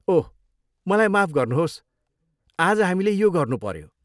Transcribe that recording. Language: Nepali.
ओह, मलाई माफ गर्नुहोस् आज हामीले यो गर्नुपऱ्यो।